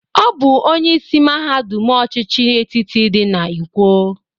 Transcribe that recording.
Ọ bụ onyeisi mahadụm ọchịchị etiti dị na Ikwo